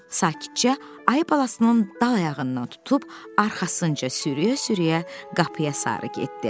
Sakitcə ayı balasının dal ayağından tutub arxasınca sürüyə-sürüyə qapıya sarı getdi.